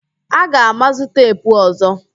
Aga mazụ teepu ọzọ